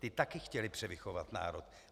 Ti také chtěli převychovat národ.